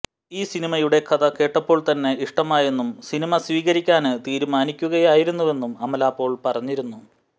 ഈ സിനിമയുടെ കഥ കേട്ടപ്പോള്ത്തന്നെ ഇഷ്ടമായെന്നും സിനിമ സ്വീകരിക്കാന് തീരുമാനിക്കുകയായിരുന്നുവെന്നും അമല പോള് പറഞ്ഞിരുന്നു